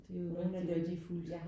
Det er jo rigtig værdifuldt